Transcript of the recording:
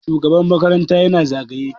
shugaban makaranta yana zagaye